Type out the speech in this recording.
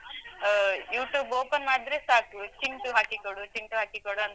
ಆ, YouTube open ಮಾಡಿದ್ರೆ ಸಾಕು, ಚಿಂಟು ಹಾಕಿಕೊಡು, ಚಿಂಟು ಹಾಕಿಕೊಡು ಅಂತಾ